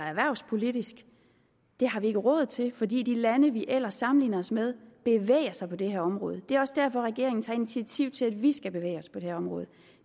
erhvervspolitisk det har vi ikke råd til fordi de lande vi ellers sammenligner os med bevæger sig på det her område det er også derfor regeringen tager initiativ til at vi skal bevæge os på det her område